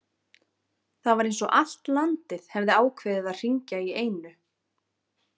Það var eins og allt landið hefði ákveðið að hringja í einu.